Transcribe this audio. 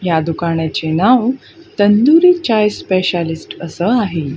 या दुकानाचे नाव तंदुरी चाय स्पेशालिस्ट असं आहे.